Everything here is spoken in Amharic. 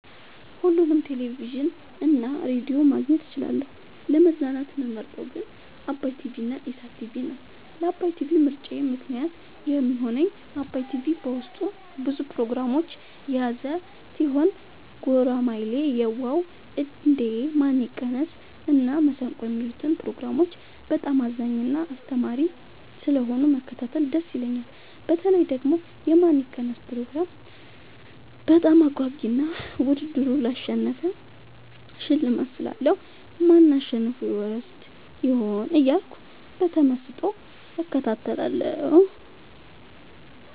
ሁሉንም ቴሌቪዥን እና ሬዲዮ ማግኘት እችላለሁ: : ለመዝናናት የምመርጠዉ ግን ዓባይ ቲቪንና ኢሣት ቲቪን ነዉ። ለዓባይ ቲቪ ምርጫየ ምክንያት የሚሆነኝ ዓባይ ቲቪ በዉስጡ ብዙ ፕሮግራሞችን የያዘ ቲሆን ጉራማይሌ የዋ ዉ እንዴ ማን ይቀነስ እና መሠንቆ የሚሉትን ፕሮግራሞች በጣም አዝናኝና አስተማሪ ስለሆኑ መከታተል ደስ ይለኛል። በተለይ ደግሞ የማን ይቀነስ ፕሮግራም በጣም አጓጊ እና ዉድድሩን ላሸነፈ ሽልማት ስላለዉ ማን አሸንፎ ይወስድ ይሆን እያልኩ በተመስጦ እከታተላለሁ።